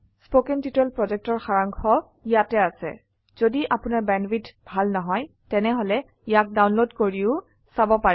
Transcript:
1 কথন শিক্ষণ প্ৰকল্পৰ সাৰাংশ ইয়াত আছে যদি আপোনাৰ বেণ্ডৱিডথ ভাল নহয় তেনেহলে ইয়াক ডাউনলোড কৰি চাব পাৰে